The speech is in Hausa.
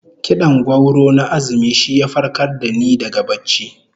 Kid'an gwauro na azumi shi ya farkar da ni daga barci